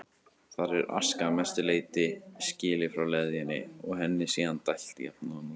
Þar er aska að mestu leyti skilin frá leðjunni og henni síðan dælt jafnóðum um